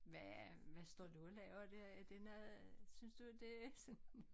Hvad hvad står du og laver dér er det noget synes du det er sådan